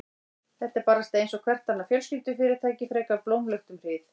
Þetta var bara einsog hvert annað fjölskyldufyrirtæki, frekar blómlegt um hríð.